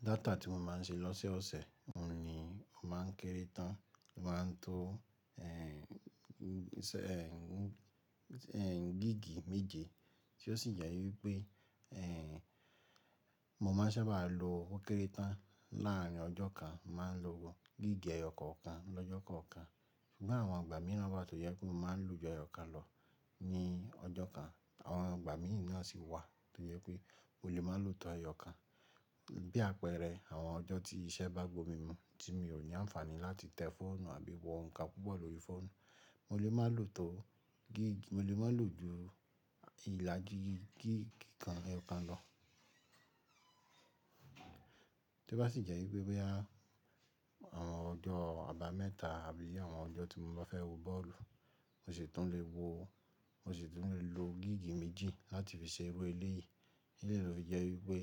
Data tí mo má ń ṣe lọ́sẹ̀ ọ̀sẹ̀, mo ni mo má ń kéré tán, o má ń to ẹ́ń gíìgì méje tí ó sì jẹ́ wípé ẹ́ mo má ń ṣábà lo ó kéré tán láàrin ọjọ́ kan, má ń lo gíìgì ẹyọ kọ̀ọ̀kan lọ́jọ́ kọ̀ọ̀kan. Ṣùgbọ́n àwọn ìgbà mìíràn bá tó jẹ́ pé mo má ń lò ju ẹyọ kàn lọ ní ọjọ́ kan, àwọn ìgbà mìí náà sì wà tó jẹ́ pé mo lè má lò to ẹyọ kàn. Bí àpẹẹrẹ àwọn ọjọ́ tí iṣẹ́ bá gbó mi mú tí mi ò ní àǹfààní láti tẹ fọ́ọ̀nù àbí wo nǹkan púpọ̀ lórí fóònù, mo lè má lò ju ìlàjì gíìgì kan ẹyọ kàn lọ. Tí ó bá sì jẹ́ wípé boya àwọn ọjọ́ àbámẹ́ta àbí i àwọn ọjọ́ tí mo bá fẹ́ wo bọ́ọ̀lù, mo sì tún lè wo, mo sì tún lè lo gíìgì méjì láti fi ṣe irú eléyìí. Ó lo fi jẹ́ wípé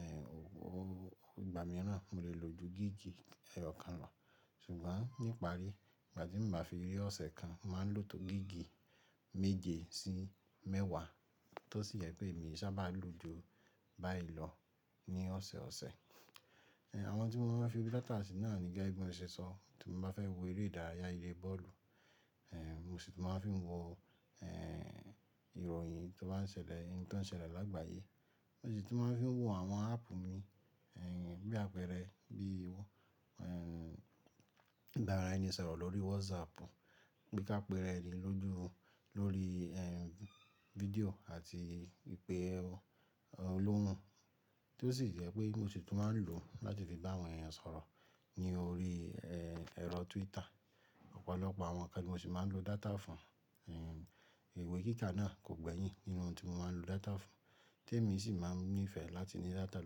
ẹ́ ìgbà mìíràn mo lè lò ju gíìgì ẹyọ kàn lọ. Ṣùgbọ́n ní ìpárí, ìgbà tí m bá fi rí ọ̀sẹ̀ kan, mo màá ń lò to gíìgì méje sí mẹ́wàá tó sì jẹ́ pé èmi e sá bá lò ju báyi lọ ní ọ̀sẹ̀ ọ̀sẹ̀. Ẹn àwọn n tí mo má ń fi data se náà ni gẹ́gẹ́ bi mo ṣ'èsọ. Tí mo bá fẹ́ wo eré ìdárayá ilé bọ́ọ̀lù ẹ́ mo sì tún má ń fi wo ẹ́hẹn ìròyìn to ba ń ṣẹlẹ̀ ní àgbáyé. Mo sì tún má ń fi wo àwọn áàpù mi ẹ́hẹn bí àpẹẹrẹ bí i wọ ẹ́hẹn ìbára ẹni sọ̀rọ̀ lórí WhatsApp, bí i ká pe'ra ẹni ló ju lórí ẹ́hẹn fídíò àti ìpè olóhùn. Tí ó sì jẹ́ pé mo sì tún má ń lò ó láti fi bá àwọn èèyàn sọ̀rọ̀ ní orí ẹ́hẹn ẹ̀rọ Twitter. Ọ̀pọ̀lọpọ̀ àwọn ǹkan ni mo sì má ń lo data fún ẹ́hẹn ìwé kíkà náà kò gbẹ́yìn nínú ohun tí mo má ń lo data fún. Tẹ́ mi sì má ń mí ìfẹ́ láti ní data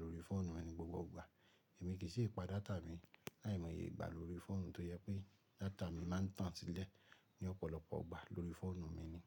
lórí fóònù mi ní gbogbo ìgbà, èmi kì í si pa data mi láìmọye ìgbà lórí fóònù tó jẹ́ pé data mi má ń tàn sílẹ̀ ní ọ̀pọ̀lọpọ̀ ìgbà lórí fóònù mi ni.